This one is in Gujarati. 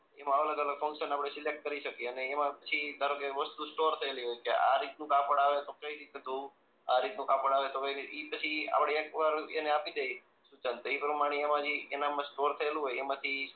એમાં અલગ અલગ ફન્કશન આપણે સિલેક્ટ કરી શકીએ અને એમાં થી ધારોકે વસ્તુ સ્ટોર થયેલી હોય કે આ રીત નું કાપડ આવે તો કઈ રીતે ધોવું આ રીત નું કાપડ આવે તો કઈ ઈ પછી એ આપણે એકવાર એને આપી દઈએ સૂચન એ પ્રમાણે એમાં જી એ સ્ટોર થયેલું હોય એમાંથી